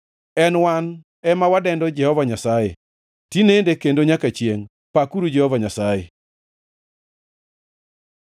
en wan ema wadendo Jehova Nyasaye tinende kendo nyaka chiengʼ. Pakuru Jehova Nyasaye!